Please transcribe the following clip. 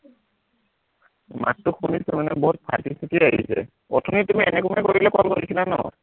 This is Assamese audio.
মাতটো শুনিছো মানে বহুত ফাটি চিটি আহিছে, অথনি তুমি এনেকুৱাই কৰিলে call কৰিছিলা ন